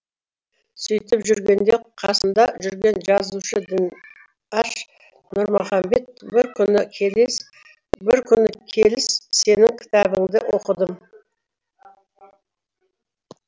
сөйтіп жүргенде қасымда жүрген жазушы дінаш нұрмұхамбет бір күні келіс сенің кітабыңды оқыдым